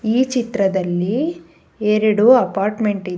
ಈ ಚಿತ್ರದಲ್ಲಿ ಎರಡು ಅಪಾರ್ಟ್ಮೆಂಟ್ ಇದೆ.